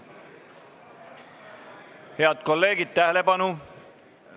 Head kolleegid, tähelepanu!